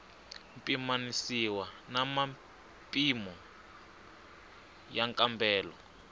pimanisiwa na mimpimo ya nkambelo